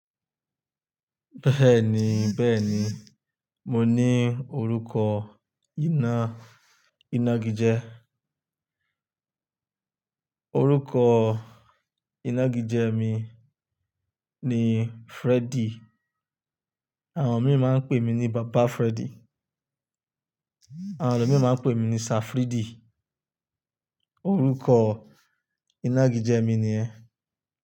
Bẹ́ẹ̀ni, bẹ́ẹ̀ni, mo ní orúkọ iná-inágijẹ. Orúkọ inágijẹ mi ni Freddy. Àwọn mi máa ń pè mí ní Bàbá Freddy. Àwọn elo mi máa ń pè mí ní Safridy. Orúkọ inágijẹ mi ni yẹ́n.